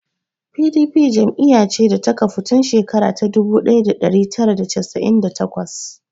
Pdp jam'iya ce da ta kafu tun shekara ta dubu ɗaya da ɗari tara da casa'in da takwas